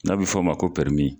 N'a bi f'a ma ko pɛrimi.